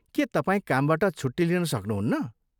के तपाईँ कामबाट छुट्टी लिन सक्नुहुन्न?